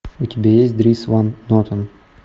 у тебя есть дрис ван нотен